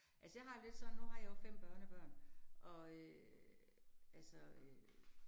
Altså jeg har det lidt sådan, nu har jeg jo 5 børnebørn, og øh altså øh